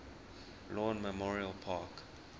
lawn memorial park